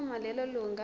uma lelo lunga